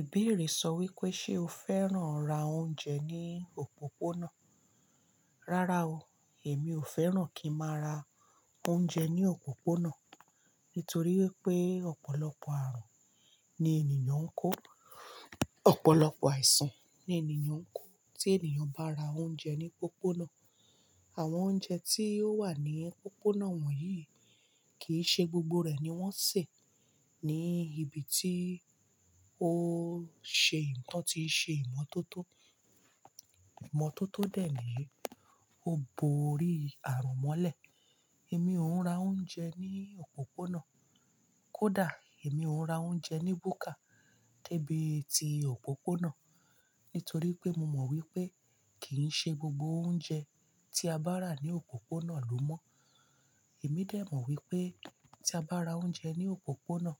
Ìbeere sọ wípé ṣé o fẹ́ràn ra oúnjẹ ní òpópónà? Rárá o, èmi ò fẹ́ràn kí n máa ra oúnjẹ ní òpópónà nítorí wípé ọ̀pọ̀lọpọ̀ ààrùn ni ènìyàn ń kó, ọ̀pọ̀lọpọ̀ àìsàn ni ènìyàn ń kó tí ènìyàn bá ra oúnjẹ ní pópónà. Àwọn oúnjẹ tí ó wà ní pópónà wọ̀nyí i kìí ṣe gbogbo rẹ̀ ni wọ́n sè ní ibi tí ó ṣe ìyi, tan tí n ṣe ìmọ̀tótó. Ìmọ̀tótó dè niyii, ó bo orí ààrùn mọ́lẹ̀. Èmi ò ń ra oúnjẹ ní òpópónà. Kódà, èmi ò ń ra oúnjẹ ní búkà debi tí òpópónà nítorí pé mo mọ̀ wípé kìí ṣe gbogbo oúnjẹ tí a bá rà ní òpópónà ló mọ́. Èmi dè mọ̀ wípé tí a bá ra oúnjẹ ní òpópónà,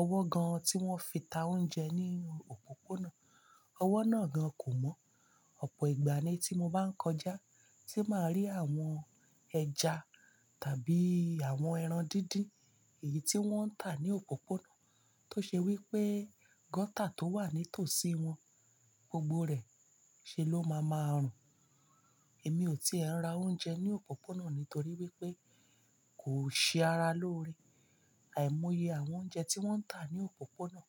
ọwọ́ gan-an tí wọ́n fi tà oúnjẹ ní òpópónà, ọwọ́ náà gan kò mọ́. Ọ̀pọ̀ ìgbà ni tí mo bá ń kọjá tí màá rí àwọn ẹja tàbí àwọn ẹran dídín èyí tí wọ́n ń tà ní òpópónà tó ṣe wípé gutter tó wà ní tòsí wọn gbogbo rẹ̀ ṣe ló máa ma rùn. Èmi ò ti è ń ra oúnjẹ ní òpópónà nítorí wípé kò ṣe ara lóore. Àìmọye àwọn oúnjẹ tí wọ́n ń tà ní òpópónà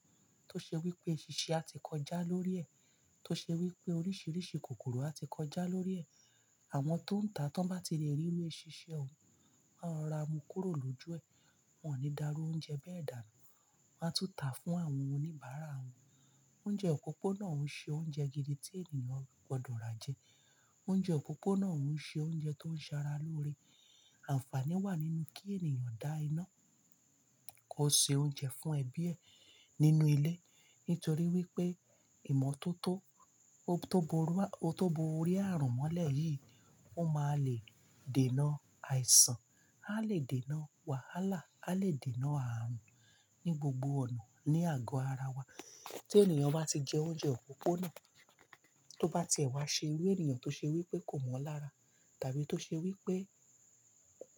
tó ṣe wípé eṣinṣin a ti kọjá lórí ẹ̀, tó ṣe wípé oríṣiríṣi kòkòrò a ti kọjá lórí ẹ̀. Àwọn tó ń tà tí wọ́n bá ti rí irú eṣinṣin ọ̀ún, wọ́n á rora mu kúrò lójú ẹ, wọn ò ní dà irú oúnjẹ bẹ́ẹ̀ dànù. Wọn á tún tà fún àwọn oníbàárà wọn. Oúnjẹ òpópónà òún ṣe oúnjẹ gidi tí ènìyàn gbọdọ̀ rá jẹ. Oúnjẹ òpópónà òún ṣe oúnjẹ tó ń ṣẹ ara lóore. Àǹfàní wà nínú kí ènìyàn dá iná kó ṣe oúnjẹ fún ẹbí ẹ nínú ilé nítorí wípé ìmọ̀tótó tó bo orí ààrùn mọ́lẹ̀ yìí ó máa lè dènà àìsàn, a lè dènà wàhálà, a lè dènà ààrùn ní gbogbo ọ̀nà ní àgọ́ ara wa. Tí ènìyàn bá ti jẹ oúnjẹ òpópónà, tó bá tie wá ṣe irú ènìyàn tó ṣe wípé kò mọ́ lara tàbí tó ṣe wípé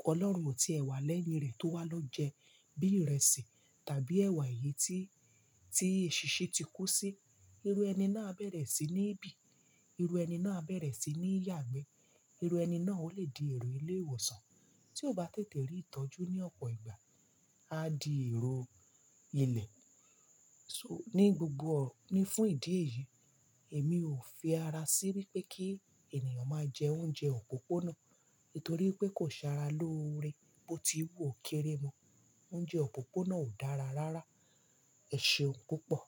Ọlọ́run ò tí è wá lẹ́yìn rẹ̀ tó wá lọ́ jẹ bí ìrẹsì tàbí ẹwà èyí tí, tí eṣinṣin ti kú sí, irú ẹni náà á bẹ̀rẹ̀ sí ní bì, irú ẹni náà á bẹ̀rẹ̀ sí ní yàgbẹ́, irú ẹni náà ò lè di èrò ilé ìwòsàn tí ó bá tètè rí ìtọ́jú ní ọ̀pọ̀ ìgbà, á di èrò ilẹ̀. So, ní gbogbo-- ní fún ìdí èyí, èmi ò fi ara sí wípé kí ènìyàn máa jẹ oúnjẹ òpópónà nítorí pé kò ṣe ara lóore bó ti wù ó kéré mo. Oúnjẹ òpópónà ò dára rárá, ẹ̀ ṣe òun púpọ̀.